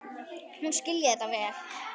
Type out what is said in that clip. Hún skilji þetta vel.